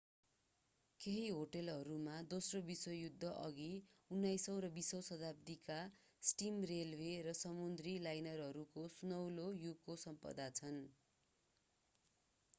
केही होटलहरूमा दोस्रो विश्वयुद्ध अघि 19 औं वा 20 औं शताब्दीका स्टिम रेलवे र समुद्री लाइनरहरूको सुनौलो युगको सम्पदा छन्